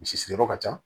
Misi siri yɔrɔ ka ca